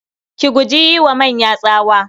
Ki guji yi wa manya tsawa.